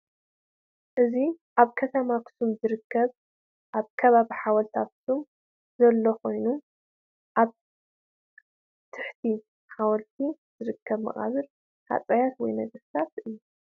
እዚ ኣብ ከተማ ኣክሱም ዝርከብ ኣብ ከባቢ ሓወልቲ ኣክሱም ዘሎ ኮይኑ ኣብ ትሕቲ ሓወልቲ ዝርከብ መቃብር ሃጸያት ወይ ነገስታት እዩ።